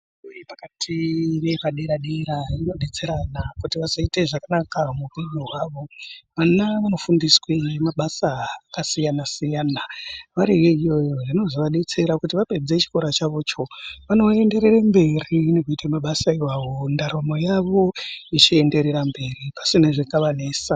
Fundo yepakati, nepadera-dera, inodetsera vana kuti vazoita zvakanaka muupenyu hwavo. Vana vanofundiswe mabasa akasiyana-siyana, variyo iyoyo, zvinozovadetsera kuti vapedze chikora chavocho, vanoenderere mberi nekuita mabasa iwawo, ndaramo yavo ichienderera mberi, pasina zvinovanesa.